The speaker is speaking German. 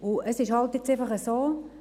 Jetzt ist es halt einfach so: